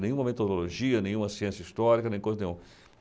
Nenhuma metodologia, nenhuma ciência histórica, nem coisa nenhuma.